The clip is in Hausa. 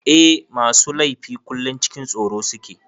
Eh masu laifi kullum cikin tsoro suke.